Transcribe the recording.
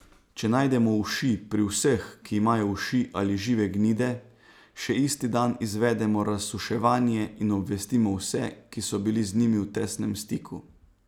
Če najdemo uši, pri vseh, ki imajo uši ali žive gnide, še isti dan izvedemo razuševanje in obvestimo vse, ki so bili z njimi v tesnem stiku.